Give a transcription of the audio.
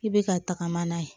I bɛ ka tagama n'a ye